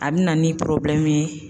A bi na ni ye.